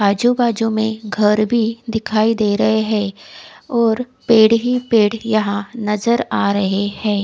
आजू बाजू में घर भी दिखाई दे रहे है और पेड़ ही पेड़ यहाँ नज़र आ रहे है।